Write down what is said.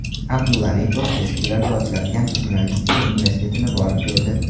Abdulla Aripov tez kunlarda ochiladigan Jurnalistika universitetini borib ko‘rdi.